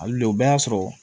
Hali le bɛ y'a sɔrɔ